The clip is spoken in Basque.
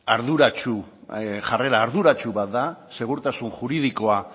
jarrera arduratsu bat da segurtasun juridikoa